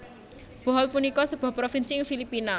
Bohol punika sebuah provinsi ing Filipina